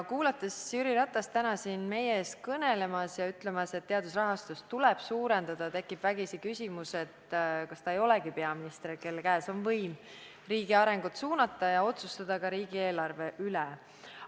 Kuulnud Jüri Ratast täna siin meie ees kõnelemas ja ütlemas, et teadusrahastust tuleb suurendada, tekkis vägisi küsimus, kas ta ei olegi peaminister, kelle käes on võim riigi arengut suunata ja otsustada ka riigieelarve üle.